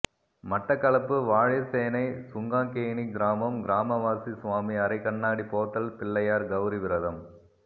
மட்டக்களப்பு வாழைச்சேனை சுங்காங்கேணி கிராமம் கிராமவாசி சுவாமி அறை கண்ணாடி போத்தல் பிள்ளையார் கௌரி விரதம்